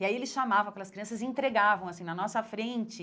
E aí ele chamava aquelas crianças e entregavam assim na nossa frente.